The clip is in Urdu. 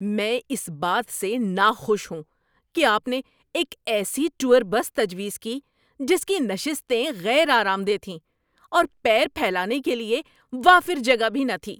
میں اس بات سے ناخوش ہوں کہ آپ نے ایک ایسی ٹور بس تجویز کی جس کی نشستیں غیر آرام دہ تھیں اور پیر پھیلانے کے لیے وافر جگہ بھی نہ تھی۔